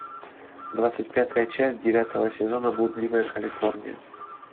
двадцать пятая часть девятого сезона блудливая калифорния